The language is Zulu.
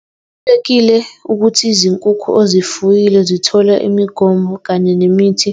Kubalulekile ukuthi izinkukhu ozifuyile zithole imigomo kanye nemithi,